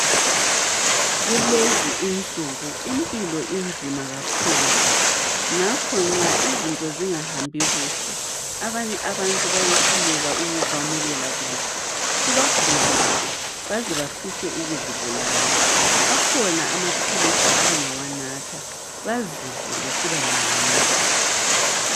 Kulezi insuku impilo inzima kakhulu. Ngakho ke nxa izinto zingahambi kuhle, abanye abantu bayehluleka ukukwamukela kuhle. Kubagulise. Baze bafise ukuzibulala, akhona, amaphilisi abangawanatha. Bazizwe besibangcono.